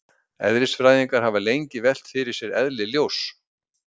eðlisfræðingar hafa lengi velt fyrir sér eðli ljóss